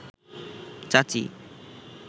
চাচি